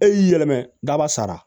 E y'i yɛlɛmɛ daba sara